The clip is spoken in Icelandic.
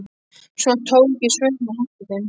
Svo tók ég svörin og henti þeim.